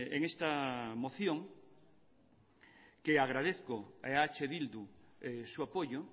en esta moción que agradezco a eh bildu su apoyo